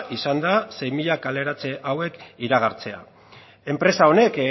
izan da sei mila kaleratze hauek iragartzea enpresa honek